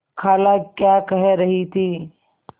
खाला क्या कह रही थी